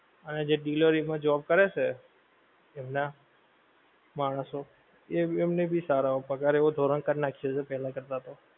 અને જે delivery નું job કરે છે, એમનાં માણશો, એ એમને ભી સારા પગાર એવો ધોરણ કર નાખીયો છે પેહલા કરતા તો